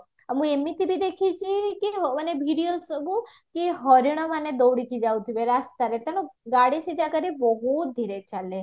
ଆଉ ମୁଁ ଏମିତି ବି ଦେଖିଛି କି ମାନେ videoରେ ସବୁ କି ହରିଣ ମାନେ ଦୌଡିକି ଯାଉଥିବେ ରାସ୍ତାରେ ତେଣୁ ଗାଡି ସେ ଜାଗାରେ ବହୁତ ଧୀରେ ଚାଲେ